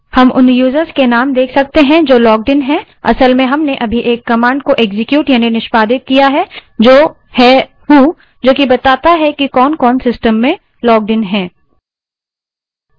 हम उन users के name देख सकते हैं जो logged इन हैं असल में हमने अभी एक command को एक्सक्यूट यानि निष्पादित किया है जो है who जो कि बताती है कि कौनकौन system में logged इन हैं